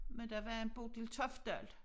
Men der var en Bodil Toftdal